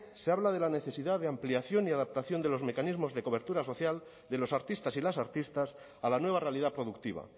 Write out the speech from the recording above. se habla de la necesidad de ampliación y adaptación de los mecanismos de cobertura social de los artistas y las artistas a la nueva realidad productiva